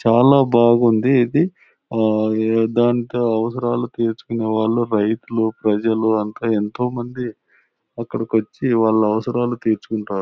చాలా బాగుంది ఇది. ఆ ఏ ఢంకా అవసరాలు తీర్చుకునే వాళ్ళు రైతులు ప్రజలు అంత ఎంతో మంది అక్కడికి వచ్చి వాళ్ళ అవసరాలు తీర్చుకుంటారు.